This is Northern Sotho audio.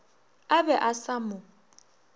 a be a sa mo